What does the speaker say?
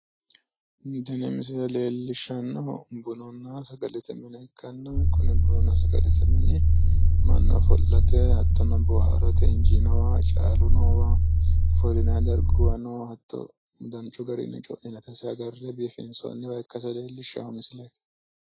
Tini misile leellishshannohu bununna sagalete mine ikkanna konne bununna sagalete mine mannu ofollate hattono boohaarate caalu noowa ofollinayi darguwa noowa hattono danchu garinni co'inatesi agarre biifinsoonniwa ikkase leellishshawo misileeti.